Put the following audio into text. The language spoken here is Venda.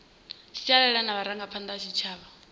sialala na vharangaphanda vha tshitshavha